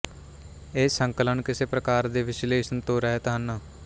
ਇਹ ਸੰਕਲਨ ਕਿਸੇ ਪ੍ਰਕਾਰ ਦੇ ਵਿਸ਼ਲੇਸ਼ਣ ਤੋਂ ਰਹਿਤ ਹਨ